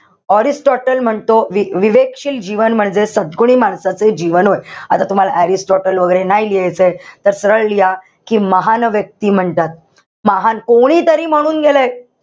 Aristotle म्हणतो, विवेकशील जीवन म्हणजे सद्गुणी माणसाचे जीवन होय. आता तुम्हाला ऑरिस्टोटल वैगेरे नाही लिहायचंय. तर सरळ लिहा, कि महान व्यक्ती म्हणतात. महान, कोणीतरी म्हणून गेलंय.